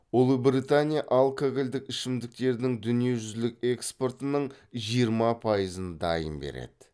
ұлыбритания алкогольдік ішімдіктердің дүниежүзілік экспортының жиырма пайызын дайын береді